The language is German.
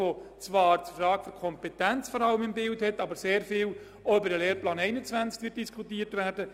Diese hat zwar vor allem die Frage der Entscheidkompetenz im Fokus, aber es wird auch sehr viel über den Lehrplan 21 diskutiert werden.